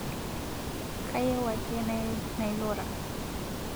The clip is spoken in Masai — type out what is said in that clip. Kayieu ake nailura